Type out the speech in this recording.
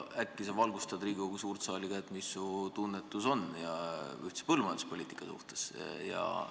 Äkki sa valgustad Riigikogu suurt saali, mida sa arvad ühisest põllumajanduspoliitikast?